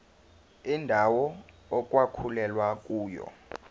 indawo okwakulwelwa kuyona